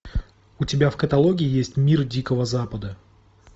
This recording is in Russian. у тебя в каталоге есть мир дикого запада